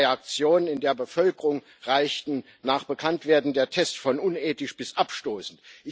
Die Reaktionen in der Bevölkerung reichten nach Bekanntwerden der Tests von unethisch bis abstoßend.